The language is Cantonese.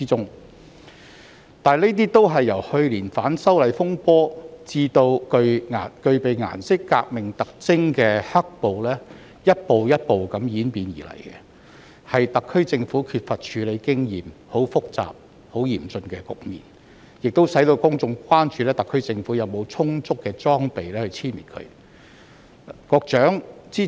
本地恐怖主義是由去年反修例風波至具備顏色革命特徵的"黑暴"逐步演變而成的，但特區政府缺乏處理複雜且嚴峻局面的經驗，所以公眾關注當局有否充足的裝備，將本地恐怖主義殲滅。